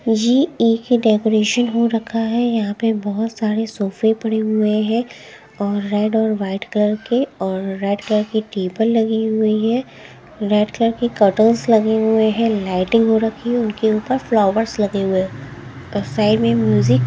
ये एक ही डेकोरेशन हो रखा है यहां पे बहुत सारे सोफे पड़े हुए हैं और रेड और वाइट कलर के और रेड कलर की टेबल लगी हुई है रेड कलर की कर्टनस लगे हुए हैं लाइटिंग हो रखी है उनके ऊपर फ्लावरस लगे हुए हैं। ओर साइड में म्यूजिक --